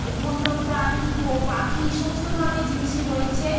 বন্য প্রাণী পাখি সমস্ত ধরণের জিনিস রয়েছে।